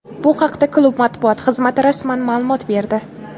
Bu haqda klub matbuot xizmati rasman ma’lumot berdi.